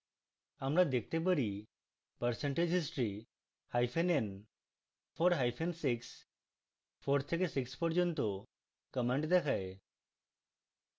আমরা দেখতে পারি percentage history hyphen n 4 hyphen 64 থেকে 6 পর্যন্ত commands দেখায়